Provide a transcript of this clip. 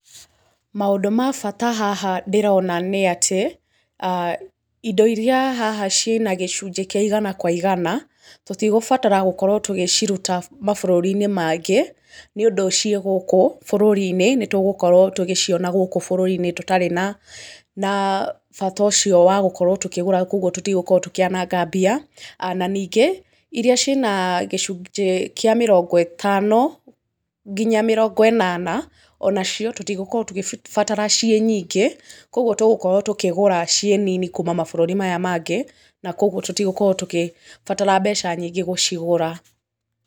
Maũndũ ma bata haha ndĩrona nĩ atĩ, indo iria haha ciĩna gĩcunjĩ kĩa igana kwa igana, tũtigũbatara gũkorwo tũgĩciruta mabũrũri-inĩ mangĩ, nĩ ũndũ ciĩ gũkũ bũrũri-inĩ, nĩ tũgũkorwo tũgĩciona gũkũ bũrũri-inĩ tũtarĩ na bata ũcio wa gũkorwo tũkĩgũra kũguo tũtigũkorwo tũkĩananga mbia. Na ningĩ, iria ciĩna gĩcunjĩ kĩa mĩrongo ĩtano nginya mĩrongo ĩnana, ona cio tũtigũkorwo tũgĩcibatara ciĩ nyingĩ, kũguo tũgũkorwo tũgĩcigũra ciĩ nini kuuma mabũrũri maya mangĩ, na kũguo tũtigũkorwo tũgĩbatara mbeca nyingĩ gũcigũra.